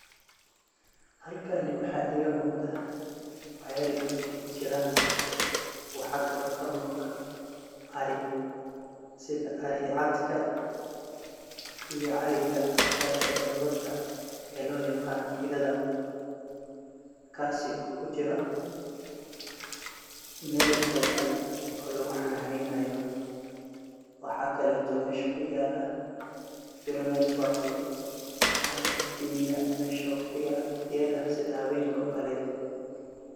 Halkani waxa ega muqdah ceel biya kujeeran waxkali oo kamuqdah ari sethi ari caatga iyo arika Kali ee dogoorta ee lo yaqaano ethatha kasi oo kujiroh meel oo than lagu xananeynayoh waxkaeeto mesha kuyala beera network leeh amah iftimiyah mesha iyo waqdiyatha setha haweenka oo Kaleeto.